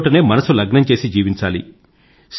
ఉన్నచోటనే మనసు లగ్నం చేసి జీవించాలి